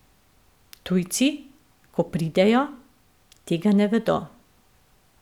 Tujci, ko pridejo, tega ne vedo.